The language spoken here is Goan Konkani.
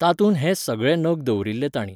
तातूंत हें सगळे नग दवरिल्ले तांणी.